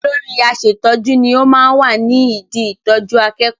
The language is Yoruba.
Olóri aṣẹ̀tọ́jú ni ó máa ń wà ní idi ìtọjú akẹ́kọ̀ọ́.